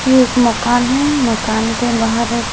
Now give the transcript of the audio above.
ये एक मकान है मकान के बाहर एक--